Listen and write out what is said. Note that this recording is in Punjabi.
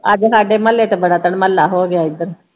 ਅੱਜ ਸਾਡੇ ਮੁਹੱਲੇ ਤੇ ਬੜਾ ਧੜਮੱਲਾ ਹੋ ਗਿਆ ਇੱਧਰ।